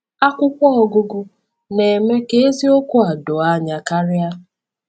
Akwụkwọ Ọgụgụ na-eme ka eziokwu a doo anya karịa.